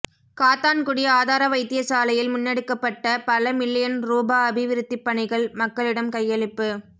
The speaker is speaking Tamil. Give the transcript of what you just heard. காத்தான்குடி ஆதார வைத்தியசாலையில் முன்னெடுக்கப்பட்ட பல மில்லியன் ரூபா அபிவிருத்திப் பணிகள் மக்களிடம் கையளிப்பு